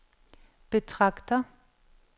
betragter